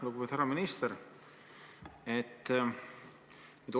Lugupeetud härra minister!